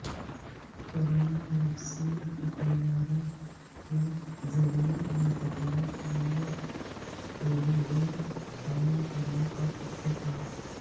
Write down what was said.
corona vaccine کی طیاروں کے ذریعےمنتقلی کیلئے کوریڈور قائم کرنےپراتفاق